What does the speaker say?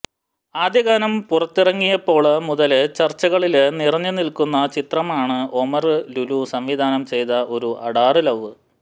ആദ്യ ഗാനം പുറത്തിറങ്ങിയപ്പോള് മുതല് ചര്ച്ചകളില് നിറഞ്ഞുനില്ക്കുന്ന ചിത്രമാണ് ഒമര് ലുലു സംവിധാനം ചെയ്ത ഒരു അഡാറ് ലൌ